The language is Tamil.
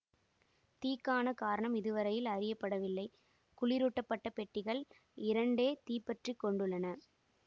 தீக்கான காரணம் இதுவரையில் அறியப்படவில்லை குளிரூட்டப்பட்ட பெட்டிகள் இரண்டே தீப்பற்றிக்கொண்டுள்ளன